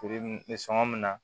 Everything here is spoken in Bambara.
Feere bɛ sɔn ka min na